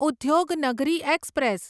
Udyognagari express